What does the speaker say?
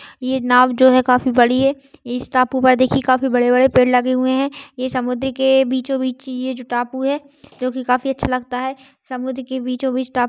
ये नाव जो है काफी बड़ी है इस टापू पर देखिये काफी बड़े बड़े पेड़ लगे हुए है ये समुद्र के बीचो बीच ये जो टापू है जो की काफी अच्छा लगता हैं। समुद्र के बिछो बीच टाप--